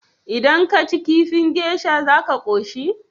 Idan kaci kifin geisha za ka koshi?